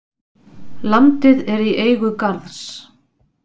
Landið er í eigu Garðs.